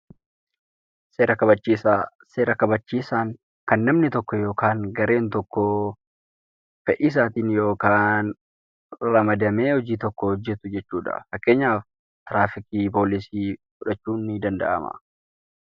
Seera kabachiisaa: seera kabachiisaan kan namni tokko yookaan gareen tokko fedhii isaatiin yookaan ramadamee hojii tokko hojjetu jechuudha. Fakkeenyaaf, tiraafikii, poolisii fudhachuun ni danda'ama.